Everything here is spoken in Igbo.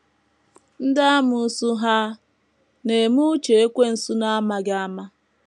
Ndị amoosu hà na - eme uche Ekwensu n’amaghị ama?